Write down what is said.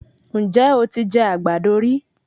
Ǹjẹ́ o ti jẹ àgbàdo rí?